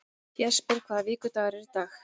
Jesper, hvaða vikudagur er í dag?